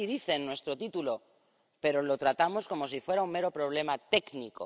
Así dice en nuestro título, pero lo tratamos como si fuera un mero problema técnico.